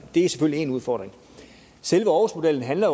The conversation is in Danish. er selvfølgelig èn udfordring selve aarhusmodellen handler